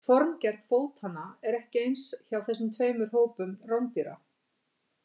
Formgerð fótanna er ekki eins hjá þessum tveimur hópum rándýra.